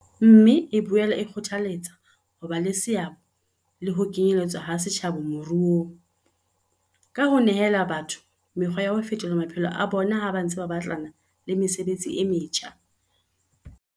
Mme e boela e kgothaletsa ho ba le seabo le ho kenyeletswa ha setjhaba moruong, ka ho nehela batho mekgwa ya ho fetola maphelo a bona ha ba ntse ba batlana le mesebetsi e metjha.